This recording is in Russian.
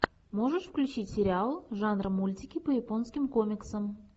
можешь включить сериал жанр мультики по японским комиксам